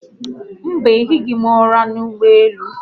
Mba, arahụghị̀m ụra n'ụgbọelu